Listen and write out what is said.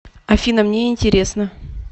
афина мне интересно